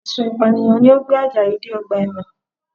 Ẹ̀sùn Ìpànìyàn ni ó gbé Àjàyí dé ọgbà ẹ̀wọ̀n